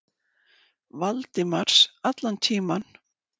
Valdimars allan tímann.